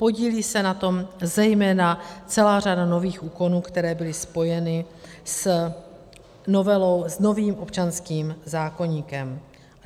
Podílí se na tom zejména celá řada nových úkonů, které byly spojeny s novelou, s novým občanským zákoníkem.